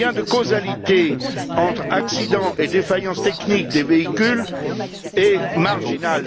Le lien de causalité entre accidents et défaillances techniques des véhicules est marginal.